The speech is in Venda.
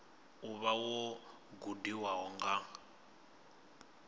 u vha wo gudiwa nga